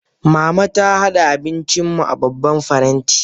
Mama ta hada abincin mu a babban faranti.